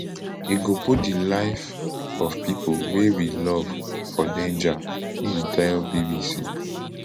ego put di life of pipo wey we love for danger im tell bbc